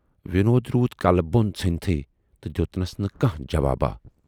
" وِنود روٗد کلہٕ بۅن ژھُنتھُے تہٕ دٮُ۪تنَس نہٕ کانہہ جواباہ۔